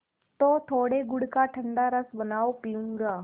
तो थोड़े गुड़ का ठंडा रस बनाओ पीऊँगा